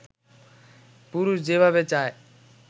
পুরুষ যেভাবে চায়